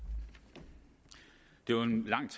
det